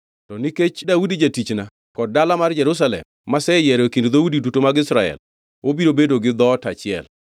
To nikech Daudi jatichna kod dala mar Jerusalem maseyiero e kind dhoudi duto mag Israel, obiro bedo gi dhoot achiel.